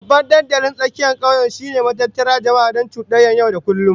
Babban dandalin tsakiyar kauye shine matattara jama'a don cudanyar yau da kullum